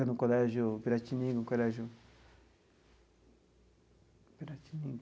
No colégio Piratininga, o colégio Piratininga.